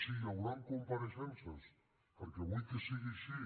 sí hi hauran compareixences perquè vull que sigui així